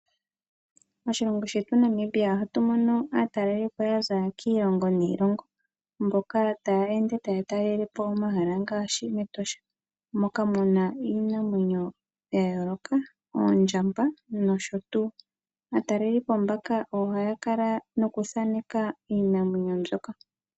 Moshilongo shetu Namibia ohatu mono aatalelipo yaza kiilongo niilongo, mboka taya ende taya talelepo omahala ngaashi mEtosha. Moka muna iinamwenyo yayooloka, oondjamba nosho tuu. Aatalelipo mbaka ohaya kala nokuthaneka iinamwenyo mbyoka.